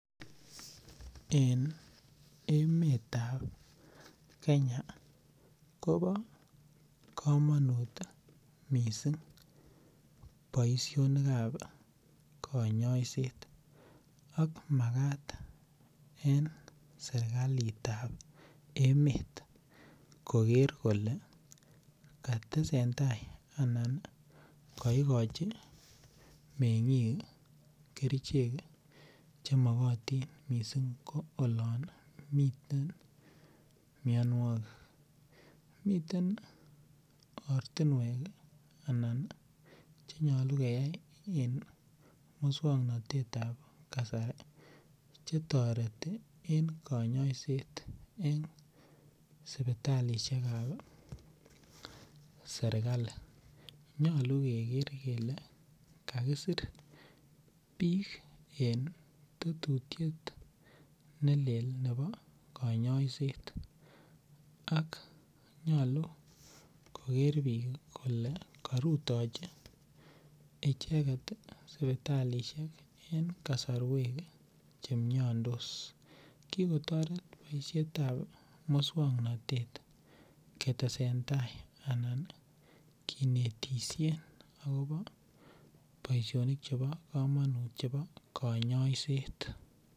En emetab Kenya kobo kamanut mising boisionikab konyoiset ak magat en sergalitab emet koger kole katesentai anan kaigochi mengik kerichek che mogotin mising ko olon miten mianwogik. Miten ortinwek anan che nyalu keyai en muswoknatetab kasari chetoreti en konyoiset en suputalisiekab sergali. Nyalu keger kele kakisir biik en tetutuiet neleel nebo konyoiset ak nyalu koger biik kole karutochi icheget suputalisiek en kasarwek chemiandos. Kikotoret boisietab muswoknatet ketesentai anan kinetisien agobo boisionik chebo kamanut chebo kanyoiset.